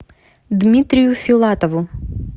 дмитрию филатову